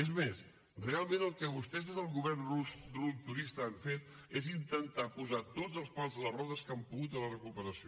és més realment el que vostès des del govern rupturista han fet és intentar posar tots els pals a les rodes que han pogut a la recuperació